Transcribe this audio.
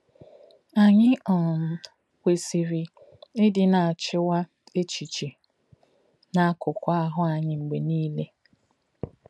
Anyị um kwesịrị ịdị na-achịkwa echiche na akụkụ ahụ anyị mgbe niile